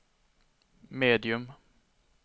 medium